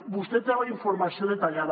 vostè en té la informació detallada